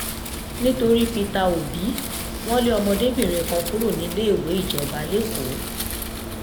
nítorí peter obi wọn lé ọmọdébìnrin kan kúrò níléèwé ìjọba lẹ́kọ̀ọ́